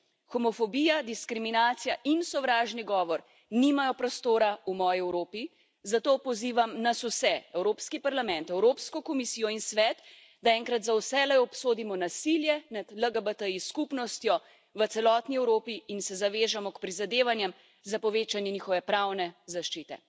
Homofobija, diskriminacija in sovražni govor nimajo prostora v moji Evropi, zato pozivam nas vse, Evropski parlament, Evropsko komisijo in Svet, da enkrat za vselej obsodimo nasilje nad LGBTI skupnostjo v celotni Evropi in se zavežemo k prizadevanjem za povečanje njihove pravne zaščite.